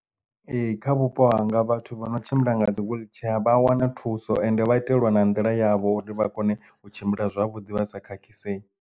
Ee kha vhupo hanga vhathu vho no tshimbila nga dzi wheelchair vha a wana thuso ende vha itelwa na nḓila yavho uri vha kone u tshimbila zwavhuḓi vha sa khakhisei.